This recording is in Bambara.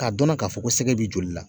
K'a dɔnna ka fɔ ko sɛgɛ b'i joli la